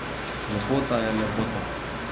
Lepota je lepota.